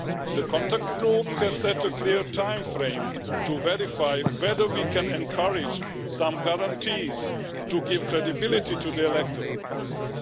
The contact group has set a clear timeframe to verify whether we can encourage some guarantees to give credibility to the electoral process.